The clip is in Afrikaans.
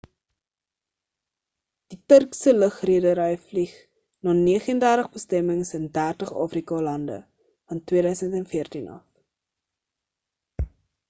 die turkse lugredery vlieg na 39 bestemmings in 30 afrika lande van 2014 af